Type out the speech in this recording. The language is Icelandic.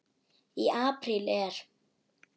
Í apríl er